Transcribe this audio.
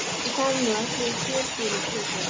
Ég tala nú ekki um í fjölbýlishúsi.